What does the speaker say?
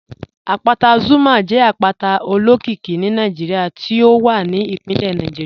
Àpátà Zuma jẹ àpátà òlókìíkí ní Nàìjíríà tí ó wà ní ìpínlẹ̀ Nàìjíríà